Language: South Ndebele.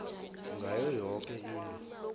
ngayo yoke into